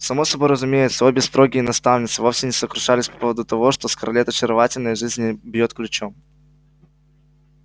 само собой разумеется обе строгие наставницы вовсе не сокрушались по поводу того что скарлетт очаровательна и жизнь в ней бьёт ключом